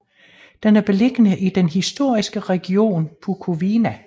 Den er beliggende i den historiske region Bukovina